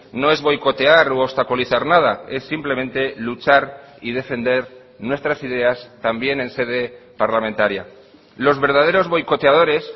no es boicotear u obstaculizar nada es simplemente luchar y defender nuestras ideas también en sede parlamentaria los verdaderos boicoteadores